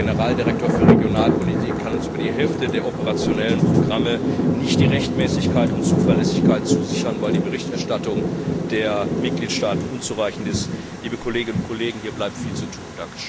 Der Generaldirektor für Regionalpolitik kann uns für über die Hälfte der operationellen Programme nicht die Rechtmäßigkeit und Zuverlässigkeit zusichern, weil die Berichterstattung der Mitgliedstaaten unzureichend ist. Liebe Kolleginnen und Kollegen, hier bleibt viel zu tun!